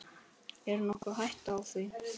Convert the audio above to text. Er nokkur hætta á því?